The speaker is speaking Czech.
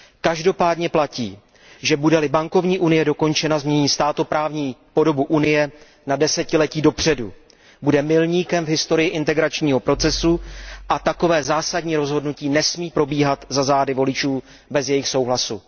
Každopádně platí, že bude li bankovní unie dokončena, změní státoprávní podobu Unie na desetiletí dopředu. Bude milníkem v historii integračního procesu a takové zásadní rozhodnutí nesmí probíhat za zády voličů bez jejich souhlasu.